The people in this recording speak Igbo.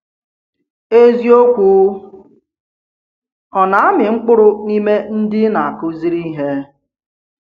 Eziokwu ọ̀ na-amị mkpụrụ n’ime ndị ị̀ na-akụziri ihe?